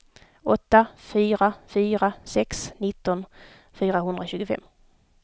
åtta fyra fyra sex nitton fyrahundratjugofem